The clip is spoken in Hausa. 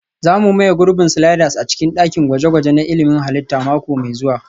Za mu maye gurbin sliders a cikin dakin gwaje-gwaje na ilmin halitta mako mai zuwa